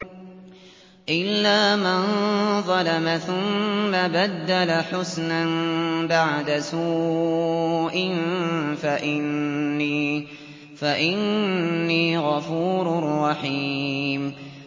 إِلَّا مَن ظَلَمَ ثُمَّ بَدَّلَ حُسْنًا بَعْدَ سُوءٍ فَإِنِّي غَفُورٌ رَّحِيمٌ